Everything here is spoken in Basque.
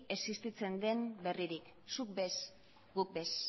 existitzen den berririk zuk ere ez guk ere ez